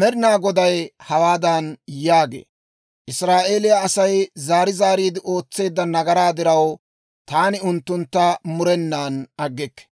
Med'inaa Goday hawaadan yaagee; «Israa'eeliyaa Asay zaari zaariide ootseedda nagaraa diraw, taani unttuntta murenan aggikke.